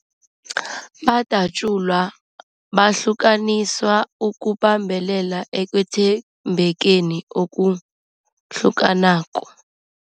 Badatjulwa, bahlukaniswa ukubambelela ekwethembekeni okuhlukanako.